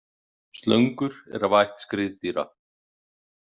Slöngur eru af ætt skriðdýra.